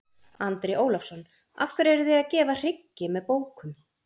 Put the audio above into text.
Andri Ólafsson: Af hverju eruð þið að gefa hryggi með bókum?